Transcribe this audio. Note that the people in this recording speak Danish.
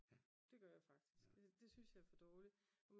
Det gør jeg faktisk det synes jeg er for dårligt